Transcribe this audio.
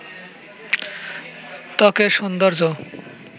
ত্বকের সৌন্দর্য